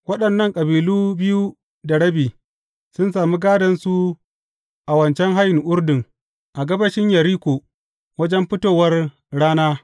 Waɗannan kabilu biyu da rabi, sun sami gādonsu a wancan hayin Urdun a gabashin Yeriko wajen fitowar rana.